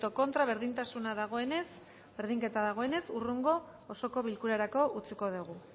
contra berdintasuna dagoenez berdinketa dagoenez hurrengo osoko bilkurarako utziko dugu